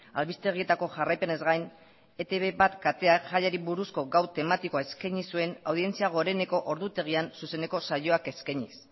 albistegietako jarraipenez gain etb bat kateak jaiari buruzko gau tematikoa eskaini zuen audientzia goreneko ordutegian zuzeneko saioak eskainiz